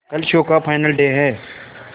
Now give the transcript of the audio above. कल शो का final day है